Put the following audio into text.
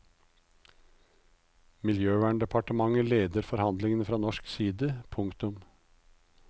Miljøverndepartementet leder forhandlingene fra norsk side. punktum